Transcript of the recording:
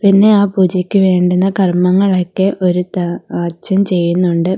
പിന്നെ ആ പൂജയ്ക്ക് വേണ്ടുന്ന കർമ്മങ്ങളൊക്കെ ഒരു ത അച്ഛൻ ചെയ്യുന്നുണ്ട്.